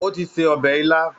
O ti se ọbẹ̀ ilá